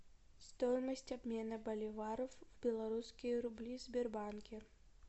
стоимость обмена боливаров в белорусские рубли в сбербанке